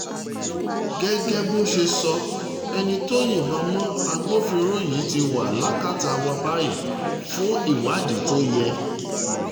gẹ́gẹ́ bó ṣe sọ ẹni tó yìnbọn mọ́ agbófinró yìí ti wà lákàtà wa báyìí fún ìwádìí tó yẹ